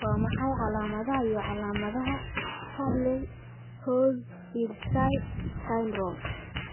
Waa maxay calaamadaha iyo calaamadaha Chudley Rozdilsky syndrome?